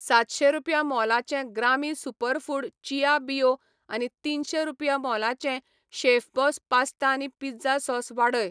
सातशे रुपया मोलाचें ग्रामी सुपरफूड चिया बियो आनी तिनशे रुपया मोलाचें शेफबॉस पास्ता आनी पिझ्झा सॉस वाडय.